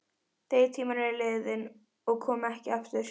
Þeir tímar eru liðnir og koma ekki aftur.